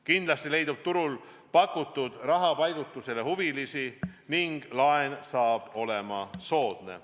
Kindlasti leidub turul pakutud rahapaigutusele huvilisi ning laen saab olema soodne.